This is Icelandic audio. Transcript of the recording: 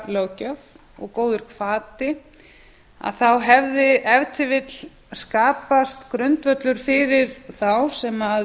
uppljóstraralöggjöf og góður hvati hefði ef til vill skapast grundvöllur fyrir þá sem vissu að